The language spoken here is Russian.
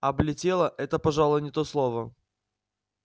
облетела это пожалуй не то слово